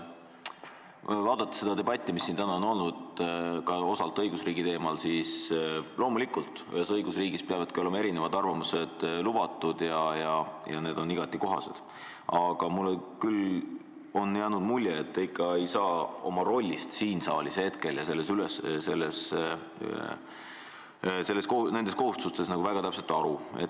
Kui vaadata seda debatti, mis siin täna on olnud osalt ka õigusriigi teemal, siis võib öelda, et loomulikult peavadki ühes õigusriigis olema erinevad arvamused lubatud ja need on igati kohased, aga mulle on küll jäänud mulje, et te ikka ei saa oma rollist hetkel siin saalis ja nendest kohustustest väga täpselt aru.